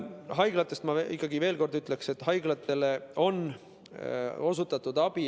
Haiglate kohta ma ikkagi veel kord ütlen, et haiglatele on abi osutatud.